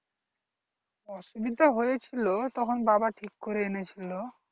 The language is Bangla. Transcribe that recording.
অসুবিধা হয়েছিল তখন বাবা ঠিক করে এনেছিল